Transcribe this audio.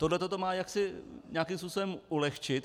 Tohle to má jaksi nějakým způsobem ulehčit.